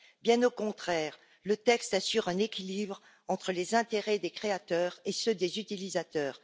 Bien au contraire, le texte assure un équilibre entre les intérêts des créateurs et ceux des utilisateurs.